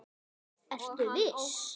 Ertu viss?